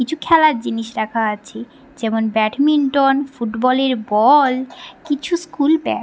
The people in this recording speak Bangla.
কিছু খেলার জিনিস রাখা আছে যেমন ব্যাডমিন্টন ফুটবল এর বওওল কিছু স্কুল ব্যাগ